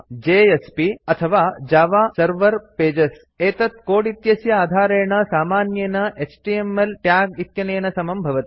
JSP अथवा Java server pages Java server pages एतत् code इत्यस्य आधारेण सामान्येन एचटीएमएल ट्याग इत्यनेन समं भवति